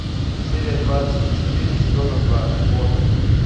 серия двадцать четыре сезона два готэм